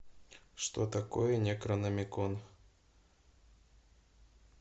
что такое некрономикон